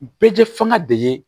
Bɛɛ tɛ fanga de ye